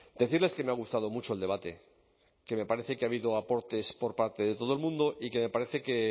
decirles que me ha gustado mucho el debate que me parece que ha habido aportes por parte de todo el mundo y que me parece que